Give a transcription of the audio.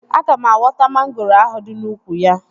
Aga m awọta mangoro ahụ dị n'úkwù ya